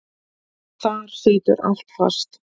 Þar situr allt fast.